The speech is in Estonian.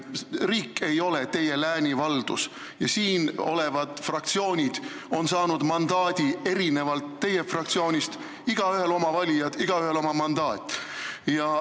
Riik ei ole teie läänivaldus ja siin olevad fraktsioonid on saanud teie fraktsiooni omast erineva mandaadi – igaühel oma valijad, igaühel oma mandaat.